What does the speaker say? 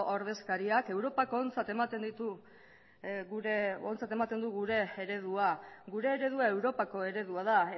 ordezkariak europak ontzat ematen du gure eredua gure eredua europako eredua da